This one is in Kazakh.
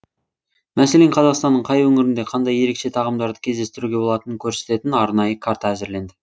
мәселен қазақстанның қай өңірінде қандай ерекше тағамдарды кездестіруге болатынын көрсететін арнайы карта әзірленді